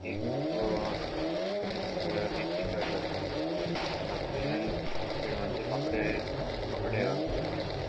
एक पुतळो आहा त्या पुतळ्याक एक टी शर्ट घातला फाटल्यान चेड़वानचे कपड़े कपडे हा बुर्ग्यांचे.